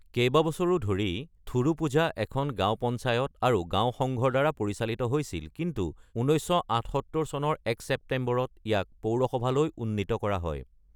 কেইবাবছৰো ধৰি থোডুপুঝা এখন গাঁও পঞ্চায়ত আৰু গাঁও সংঘৰদ্বাৰা পৰিচালিত হৈছিল, কিন্তু ১৯৭৮ চনৰ ১ ছেপ্টেম্বৰত ইয়াক পৌৰসভালৈ উন্নীত কৰা হয়।